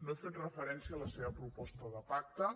no he fet referència a la seva proposta de pacte